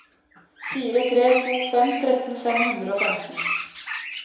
fire tre to fem tretten fem hundre og femten